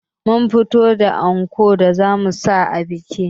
Mun fitar da ankon da zamu sa a bikin